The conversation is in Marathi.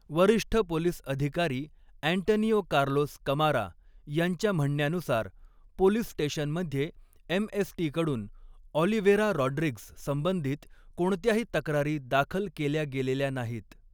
वरिष्ठ पोलीस अधिकारी अँटनीओ कार्लोस कमारा यांच्या म्हणण्यानुसार, पोलीस स्टेशनमध्ये एम.एस.टी कडून ऑलिव्हेरा रॉड्रिग्स संबंधित कोणत्याही तक्रारी दाखल केल्या गेलेल्या नाहीत.